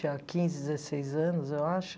tinha quinze, dezesseis anos, eu acho.